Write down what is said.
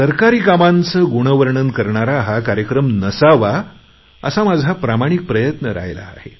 सरकारी कामांचे गुणवर्णन करणारा हा कार्यक्रम नसावा असा माझा प्रामाणिक प्रयत्न राहिला आहे